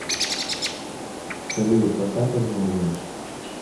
салют поставь альбом ревендж